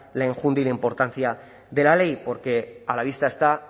la enjundia y la importancia de la ley porque a la vista está